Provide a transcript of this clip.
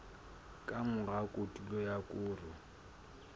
ka mora kotulo ya koro